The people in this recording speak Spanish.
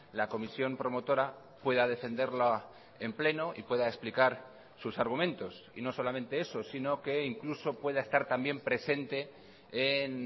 la comisión promotora pueda defenderla en pleno y pueda explicar sus argumentos y no solamente eso sino que incluso pueda estar también presente en